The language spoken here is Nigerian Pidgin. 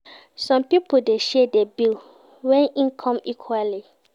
Some pipo de share di bill when in come equally